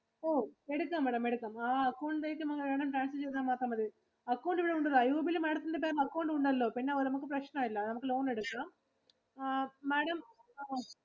ഓ എടുക്കാം Madam എടുക്കാം. ആ account ഇലേക്കു Madam transfer ചെയ്താ മാത്രം മതി. Account ഇവിടെ ഉണ്ടല്ലോ. IOB ഇല് Madam ത്തിന്റെ പേരില് account ഉണ്ടല്ലോ. പിന്നെ നമുക്ക് പ്രശ്‍നം ഇല്ല നമുക്ക് loan എടുക്കുക അഹ് Madam